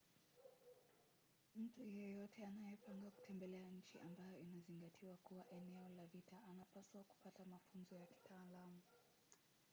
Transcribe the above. mtu yeyote anayepanga kutembelea nchi ambayo inazingatiwa kuwa eneo la vita anapaswa kupata mafunzo ya kitaalamu